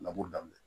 Laburu daminɛ